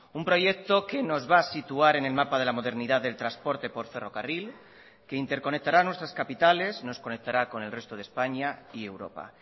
un proyecto que nos va a situar en el mapa de la modernidad del transporte por ferrocarril que interconectará nuestras capitales nos conectará con el resto de españa y europa